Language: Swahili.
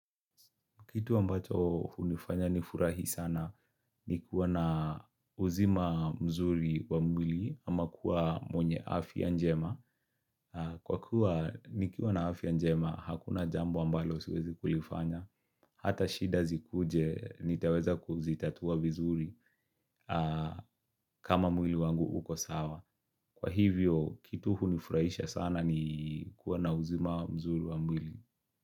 Kitu ambacho hunifanya nifurahi sana ni kuwa na uzima mzuri wa mwili ama kuwa mwenye afia njema. Kwa kuwa nikiwa na afia njema hakuna jambo ambalo siwezi kulifanya. Hata shida zikuje nitaweza kuzitatua vizuri kama mwili wangu uko sawa. Kwa hivyo kitu hunifurahisha sana ni kuwa na uzima mzuri wa mwili.